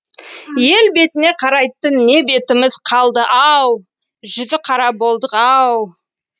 ел бетіне қарайтын не бетіміз қалды ау жүзіқара болдық ау